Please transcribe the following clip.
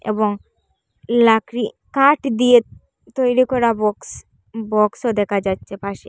এবং লাকড়ি কাঠ দিয়ে তৈরি করা বক্স বক্সও দেখা যাচ্ছে পাশে।